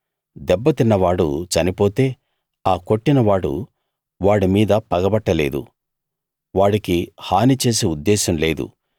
దెబ్బతిన్న వాడు చనిపోతే ఆ కొట్టినవాడు వాడి మీద పగపట్ట లేదు వాడికి హాని చేసే ఉద్దేశం లేదు